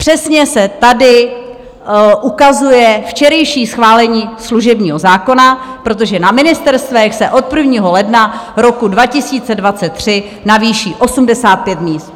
Přesně se tady ukazuje včerejší schválení služebního zákona, protože na ministerstvech se od 1. ledna roku 2023 navýší 85 míst.